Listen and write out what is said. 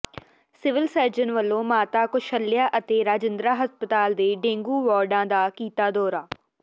civil surgeon ਵੱਲੋਂ ਮਾਤਾ ਕੁਸੱਲਿਆ ਅਤੇ ਰਜਿੰਦਰਾ ਹਸਪਤਾਲ ਦੇ ਡੇਂਗੂ ਵਾਰਡਾਂ ਦਾ ਕੀਤਾ ਦੌਰਾ